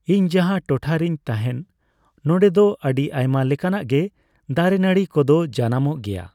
ᱤᱧ ᱡᱟᱦᱟᱸ ᱴᱚᱴᱷᱟ ᱨᱮᱧ ᱛᱟᱦᱮᱱ ᱱᱚᱸᱰᱮ ᱫᱚ ᱟᱹᱰᱤ ᱟᱭᱢᱟ ᱞᱮᱠᱟᱱᱟᱜ ᱜᱮ ᱫᱟᱨᱮ ᱱᱟᱹᱬᱤ ᱠᱚᱫᱚ ᱡᱟᱱᱟᱢᱚᱜ ᱜᱮᱭᱟ